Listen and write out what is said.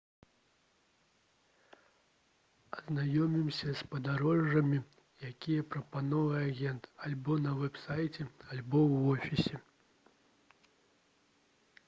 азнаёмцеся з падарожжамі якія прапаноўвае агент альбо на вэб-сайце альбо ў офісе